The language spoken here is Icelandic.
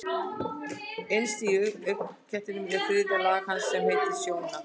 Innst í augnknettinum er þriðja lag hans sem heitir sjóna.